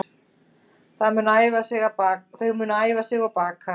Þau munu æfa sig og baka